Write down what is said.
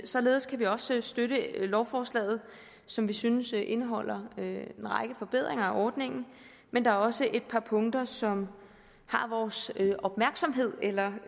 således kan vi også støtte lovforslaget som vi synes indeholder en række forbedringer af ordningen men der er også et par punkter som har vores opmærksomhed eller